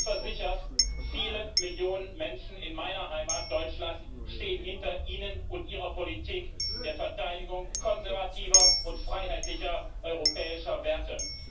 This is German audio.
Seien Sie versichert Viele Millionen Menschen in meiner Heimat Deutschland stehen hinter Ihnen und Ihrer Politik der Verteidigung konservativer und freiheitlicher europäischer Werte.